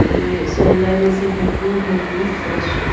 ये सौंदर्य से भरपूर है ये दृश्य--